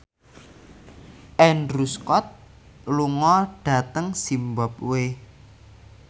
Andrew Scott lunga dhateng zimbabwe